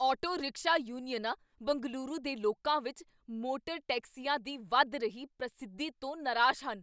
auto rickshaw ਯੂਨੀਅਨਾਂ ਬੰਗਲੁਰੂ ਦੇ ਲੋਕਾਂ ਵਿੱਚ ਮੋਟਰ ਟੈਕਸੀਆਂ ਦੀ ਵੱਧ ਰਹੀ ਪ੍ਰਸਿੱਧੀ ਤੋਂ ਨਰਾਜ਼ ਹਨ